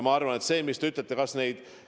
Ja see, mis te ütlete, on õige.